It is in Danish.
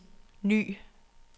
ny